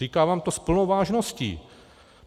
Říkám vám to s plnou vážností.